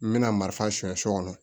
N bɛna marifasu kɔnɔ